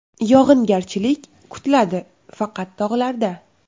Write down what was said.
Yog‘ingarchilik kutiladi faqat tog‘larda.